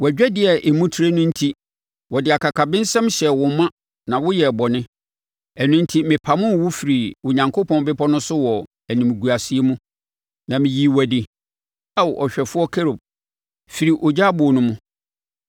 Wʼadwadie a emu trɛ no enti wɔde akakabensɛm hyɛɛ wo ma na woyɛɛ bɔne. Ɛno enti mepamoo wo firii Onyankopɔn bepɔ no so wɔ animguaseɛ mu, na meyii wo adi, Ao ɔhwɛfoɔ Kerub, firii ogya aboɔ no mu.